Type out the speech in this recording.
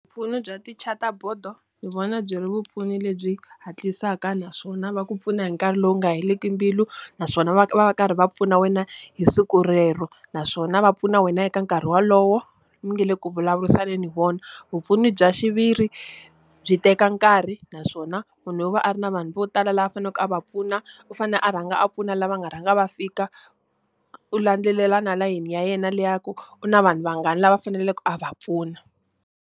Mpfuno bya tichataboto ni vona byi ri vupfuni lebyi hatlisa naswona va ku pfuna hi nkarhi lowu nga heleli mbilu, naswona va va va karhi va pfuna wena hi siku rero. Naswona va pfuna wena eka nkarhi wolowo mi nga le ku vulavurisaneni . Vupfuni bya xiviri, byi teka nkarhi naswona munhu u va a ri na vanhu vo tala lava a faneleke a va pfuna. U fanele a rhanga a pfuna lava nga rhanga va fika, u landzelela na layeni le ya ku u na vanhu vangani lava a faneleke a va pfuna.